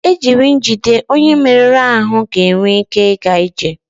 jiri njide onye merụrụ ahụ ga-enwe ike ịga ije